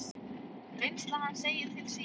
Reynsla hans segir til sín.